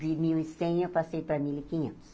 De mil e cem, eu passei para mil e quinhentos.